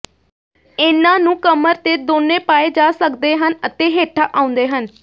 ਇਹਨਾਂ ਨੂੰ ਕਮਰ ਤੇ ਦੋਨੋ ਪਾਏ ਜਾ ਸਕਦੇ ਹਨ ਅਤੇ ਹੇਠਾਂ ਆਉਂਦੇ ਹਨ